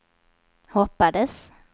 hoppades